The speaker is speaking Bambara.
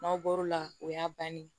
N'aw bɔr'o la o y'a bannen ye